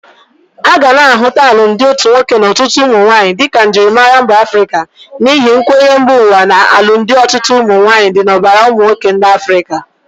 Aga na ahụta alụmdị otu nwoke na ọtụtụ ụmụnwaanyi di ka njịrịmara mba Afrịka n'ihi nkwenye mba ụwa na alumdi ọtụtụ ụmụnwaanyị di n'ọbara ụmụnwoke ndi Afrịka.